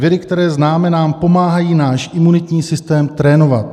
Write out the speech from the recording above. Viry, které známe, nám pomáhají náš imunitní sytém trénovat.